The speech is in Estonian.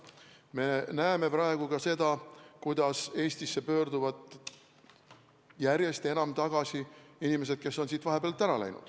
Me näeme praegu ka seda, et Eestisse pöörduvad järjest enam tagasi inimesed, kes on siit vahepeal ära läinud.